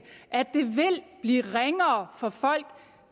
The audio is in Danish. blive ringere for folk